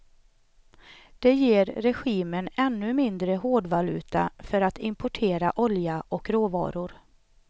Det ger regimen ännu mindre hårdvaluta för att importera olja och råvaror.